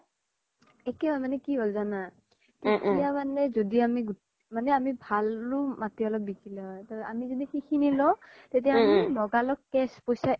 একে হয় তাৰ মানে কি হ্'ল যানা তেতিয়া মানে জ্দি আমি, আমি অলপ ভালও মাতি অলপ বিকিলো হয় আমি জ্দি খিনিনি লও তেতিয়া লগা ল'গ cash পইচা